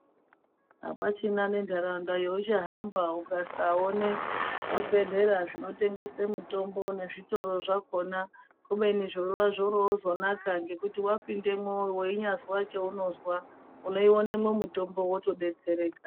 Hapachina nendaraunda yaunohamba ukasaona zvibhedhlera zvinotengesa mitombo nezvitoro zvakona kubeni zvona zvoronaka ngekuti wapindemwo weunyazwa chaunozwa uno yiwonemwo mutombo wotodetsereka.